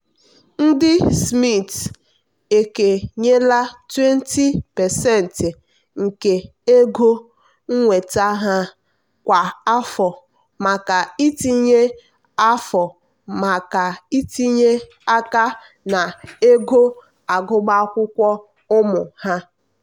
ndị smiths ekenyela 20% nke ego nnweta ha kwa afọ maka itinye afọ maka itinye aka na ego agụmakwụkwọ ụmụ ha.